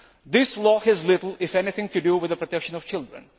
This law has little, if anything, to do with the protection of children.